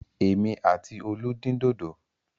Èmi àti Olú dín dòdò.